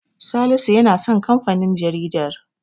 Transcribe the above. Salisu ya san kamfanin jaridar.